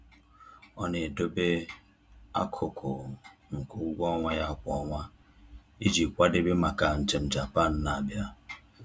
Ọ na-edobe akụkụ nke ụgwọ ọnwa ya kwa ọnwa iji kwadebe maka njem Japan na-abịa